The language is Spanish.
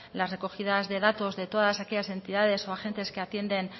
las recogidas de datos de todas aquellas entidades o agentes que atienden